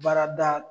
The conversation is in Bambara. Baarada